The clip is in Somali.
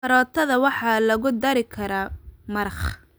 Karootada waxaa lagu dari karaa maraq.